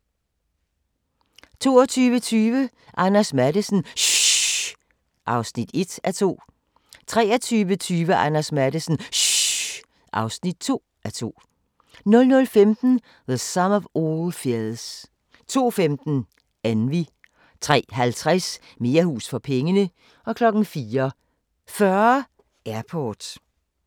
22:20: Anders Matthesen - SHHH! (1:2) 23:20: Anders Matthesen - SHHH! (2:2) 00:15: The Sum of All Fears 02:15: Envy 03:50: Mere hus for pengene 04:40: Airport